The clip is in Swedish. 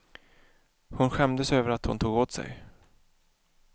Hon skämdes över att hon tog åt sig.